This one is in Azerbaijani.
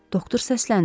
Doktor səsləndi.